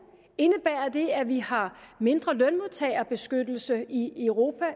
indebærer det at vi har mindre lønmodtagerbeskyttelse i europa